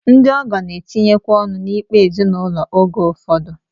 Ndị ọgọ na-etinyekwa ọnụ n'ikpe ezinụlọ oge ụfọdụ